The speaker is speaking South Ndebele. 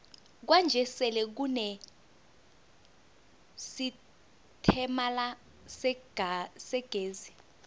kwanje sele kune sitemala segezi